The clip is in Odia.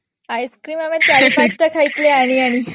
ice cream ଚାରି ପାଞ୍ଚଟା ଖାଇଥିଲି ଆଣି ଆଣି